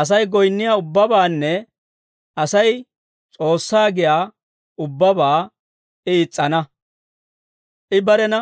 Asay goyinniyaa ubbabaanne Asay S'oossaa giyaa ubbabaa I is's'ana. I barena